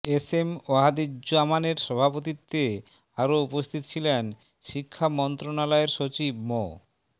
SM ওয়াহিদুজ্জামানের সভাপতিত্বে আরও উপস্থিত ছিলেন শিক্ষা মন্ত্রণালয়ের সচিব মো